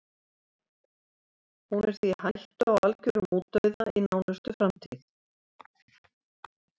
Hún er því í hættu á algjörum útdauða í nánustu framtíð.